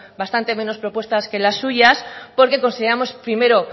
bastante menos propuestas que las suyas porque consideramos primero